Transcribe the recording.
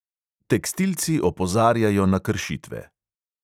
Tekstilci opozarjajo na kršitve.